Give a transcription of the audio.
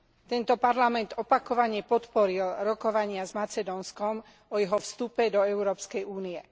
Tento Parlament opakovane podporil rokovania s Macedónskom o jeho vstupe do Európskej únie.